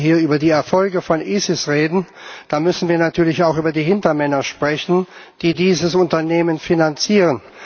Wenn wir hier über die Erfolge von ISIS reden, dann müssen wir natürlich auch über die Hintermänner sprechen, die dieses Unternehmen finanzieren.